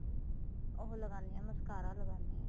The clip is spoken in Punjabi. ਉਹ ਲਗਾਨੇ ਏ mascara ਲਗਾਨੇ ਆਂ